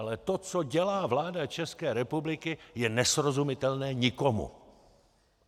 Ale to, co dělá vláda České republiky, je nesrozumitelné nikomu.